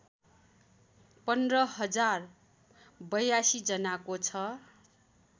१५ हजार ८२ जनाको छ